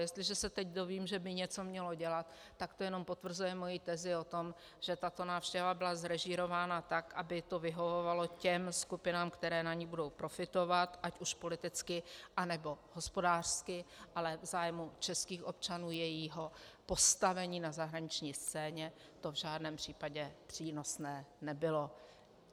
Jestliže se teď dozvím, že by něco mělo dělat, tak to jenom potvrzuje moji tezi o tom, že tato návštěva byla zrežírována tak, aby to vyhovovalo těm skupinám, které na ní budou profitovat ať už politicky, anebo hospodářsky, ale v zájmu českých občanů, jejich postavení na zahraniční scéně to v žádném případě přínosné nebylo.